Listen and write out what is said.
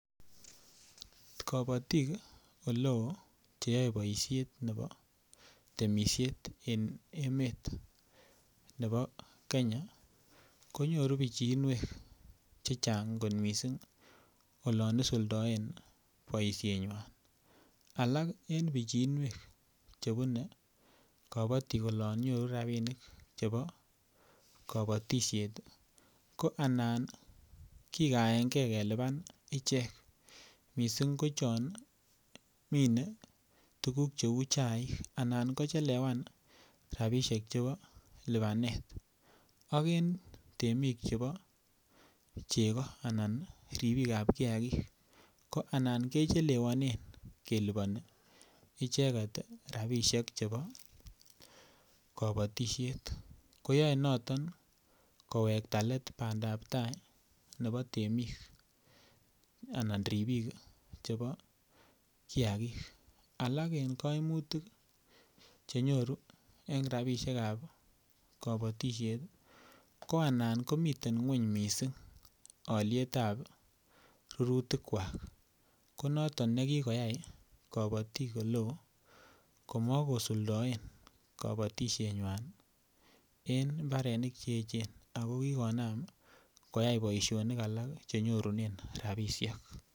Kabatik oleo Che yoe boisiet nebo temisiet en emet nebo Kenya konyoru pichiinwek Che Chang kot mising olon isuldoen boisienywan alak en pichiinwek Che bune kabatik olon nyoru rabinik chebo kabatisiet ko anan kigaen ge kelipan ichek mising ko chon minei tuguk cheu chaik anan kochelewan rabisiek chebo lipanet ak en temik chebo chego anan ribikap kiagik ko anan kechelewonen kelipani icheget rabisiek chebo kabatisiet ko yoe noton kowekta let bandap tai nebo temik anan ribik chebo kiagik alak en kaimutik Che nyoru en rabisiek ab kabatisiet ko anan ko miten ngwony mising alyet ab rurutik ko noton nekikoyai kabatik oleo komo kosuldaen kabatisienywan en mbarenik Che echen ago kikonam koyai boisionik alak Che nyorunen rabisiek